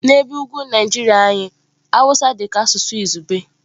N'ebe ugwu Naijiria anyị Hausa dị ka asụsụ izugbe.